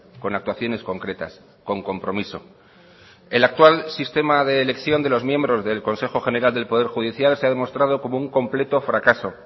con actuaciones concretas con compromiso el actual sistema de elección de los miembros del consejo general del poder judicial se ha demostrado como un completo fracaso